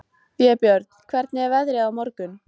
Vébjörn, hvernig er veðrið á morgun?